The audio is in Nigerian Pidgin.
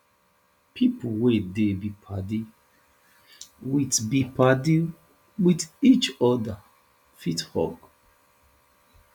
pipo wey dey be padi with be padi with each oda fit hug